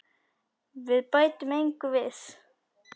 Við bætum engu við.